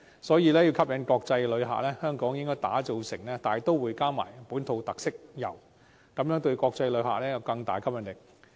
所以，要吸引國際旅客，便要推廣大都會的本土特色遊，這樣做對國際旅客會有更大吸引力。